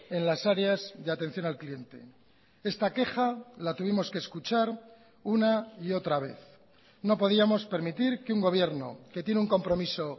en las áreas de atención al cliente esta queja la tuvimos que escuchar una y otra vez no podíamos permitir que un gobierno que tiene un compromiso